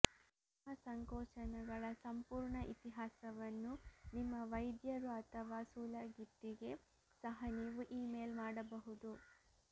ನಿಮ್ಮ ಸಂಕೋಚನಗಳ ಸಂಪೂರ್ಣ ಇತಿಹಾಸವನ್ನು ನಿಮ್ಮ ವೈದ್ಯರು ಅಥವಾ ಸೂಲಗಿತ್ತಿಗೆ ಸಹ ನೀವು ಇಮೇಲ್ ಮಾಡಬಹುದು